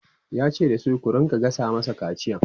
yace da su "ku rinka gasa masa kaciyan!''